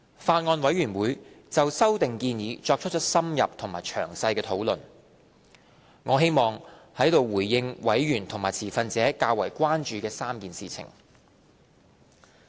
法案委員會就修訂建議作出了深入和詳細的討論，我希望在此回應委員和持份者較為關注的3件事情。